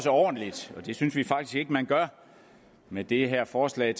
ordentligt og det synes vi faktisk ikke man gør med det her forslag